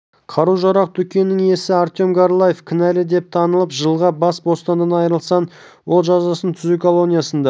қару-жарақ дүкенінің иесі артем горлаев кінәлі деп танылып жылға бас бостандығынан айрылсын ол жазасын түзеу колониясында